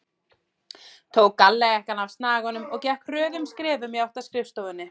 Tók gallajakkann af snaganum og gekk hröðum skrefum í átt að skrifstofunni.